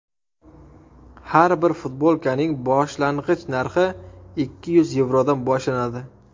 Har bir futbolkaning boshlang‘ich narxi ikki yuz yevrodan boshlanadi.